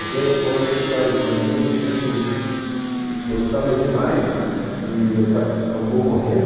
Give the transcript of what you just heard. Eu tenho uma outra história de uma menina também que eu gostava demais e acabou morrendo,